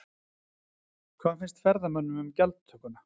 Hvað finnst ferðamönnum um gjaldtökuna?